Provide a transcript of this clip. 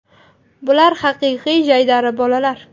Bular haqiqiy jaydari bolalar.